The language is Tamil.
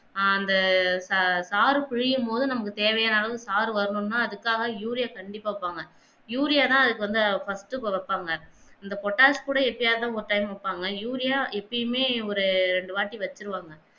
ஆஹ் அந்த ச சாறு புலியும் பொது நமக்கு தேவையான அளவு சாறு வரணும்னா அதுக்காக Urius கண்டிப்பா வெப்பாங்க யூரியா தான் அதுக்கு வந்து first கு வெப்பாங்க அந்த போட்டாச்சு கூட எப்பயாசிச்சும் ஒரு time வெப்பாங்க யூரியா எப்பேமே ஒரு ரெண்டு வாட்டி வெச்சிடுவாங்க